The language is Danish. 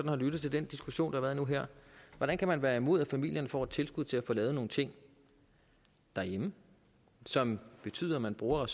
har lyttet til den diskussion der har været nu og her hvordan kan man være imod at familierne får et tilskud til at få lavet nogle ting derhjemme som betyder at man bruger